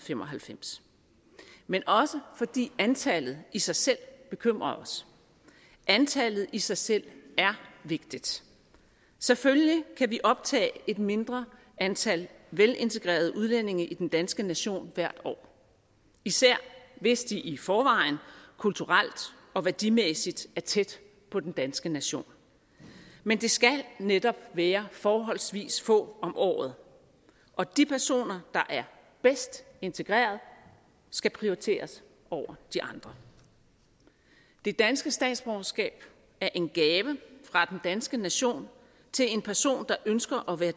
fem og halvfems men også fordi antallet i sig selv bekymrer os antallet i sig selv er vigtigt selvfølgelig kan vi optage et mindre antal velintegrerede udlændinge i den danske nation hvert år især hvis de i forvejen kulturelt og værdimæssigt er tæt på den danske nation men det skal netop være forholdsvis få om året og de personer der er bedst integreret skal prioriteres over de andre det danske statsborgerskab er en gave fra den danske nation til en person der ønsker at være